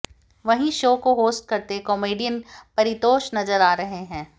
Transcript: वहीं शो को होस्ट करते कॉमेडियन परितोष नजर आ रहे हैं